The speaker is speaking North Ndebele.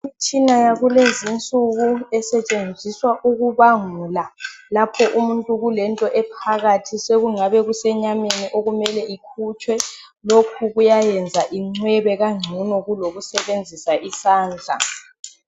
Imitshina yakulezinsuku esetshenziswa ukubangula lapho umuntu kulento ephakathi sokungabe kusenyameni sokumele ikhutshwe lokhu kuyayenza incwebe kangcono kulokusebenzisa isandla.